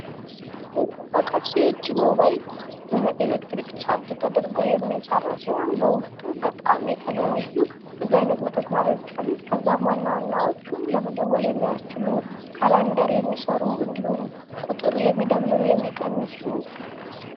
የእጅ ሞባይል በኤሌክትሪክ ተደርጎ የሚሰራ ሲሆን በውስጡ በጣም የተለያዩ መተግበሪያዎች አሉት ከዛም ዋና ዋናዎቹ ለመደወል የሚያገለግል ካላንደር የሚሰሩ እንዲሁም ቁጥር የሚደመሩ የሚቀንሱ።